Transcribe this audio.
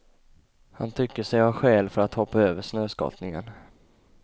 Han tycker sig ha skäl för att hoppa över snöskottningen.